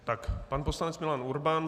Tak pan poslanec Milan Urban.